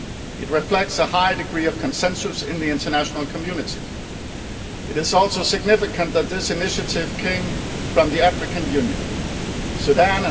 It reflects a high degree of consensus in the international community. It is also significant that this initiative came from the African Union Sudan